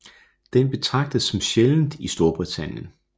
Den betragtes som sjældent i Storbritannien